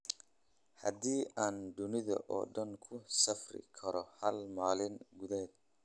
haddii aan dunida oo dhan ku safri karo hal maalin gudaheed